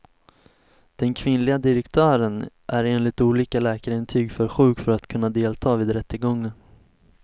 Den kvinnliga direktören är enligt olika läkarintyg för sjuk för att kunna delta vid rättegången.